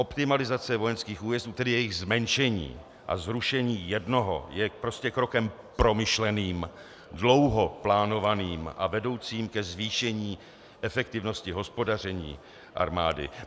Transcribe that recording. Optimalizace vojenských újezdů, tedy jejich zmenšení a zrušení jednoho, je prostě krokem promyšleným, dlouho plánovaným a vedoucím ke zvýšení efektivnosti hospodaření armády.